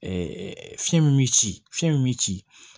fiɲɛ min bi ci fiɲɛ min bi ci